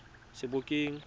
sebokeng